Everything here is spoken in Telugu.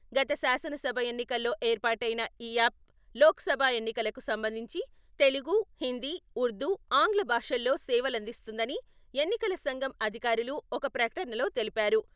గత శాసనసభ ఎన్నికల్లో ఏర్పాటైన ఈ యాప్ లోక్సభ ఎన్నికలకు సంబంధించి తెలుగు, హిందీ, ఉర్దూ, ఆంగ్ల భాషల్లో సేవలందిస్తుందని ఎన్నికల సంఘం అధికారులు ఒక ప్రకటనలో తెలిపారు.